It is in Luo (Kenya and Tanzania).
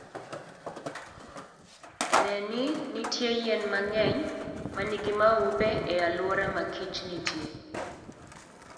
Ne ni nitie yien mang'eny ma nigi maupe e alwora ma kich nitie.